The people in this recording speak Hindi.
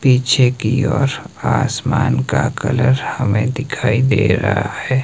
पीछे की ओर आसमान का कलर हमें दिखाई दे रहा है।